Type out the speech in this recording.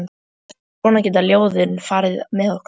Svona geta ljóðin farið með okkur.